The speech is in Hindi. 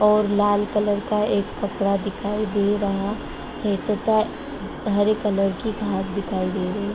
और लाल कलर का एक कपड़ा दिखाई दे रहा है ऊपर हरे कलर की घास दिखाई दे रही --